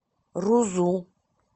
рузу